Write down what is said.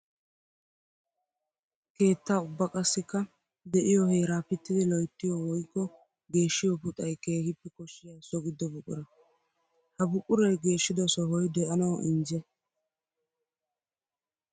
Keetta ubba qassikka de'iyo heera pittiddi loyttiyo woykko geeshshiyo puxxay keehippe koshiya so gido buqura. Ha buquray geeshiddo sohoy de'anawu injje.